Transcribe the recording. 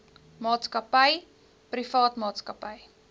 maatskappy privaat maatskappy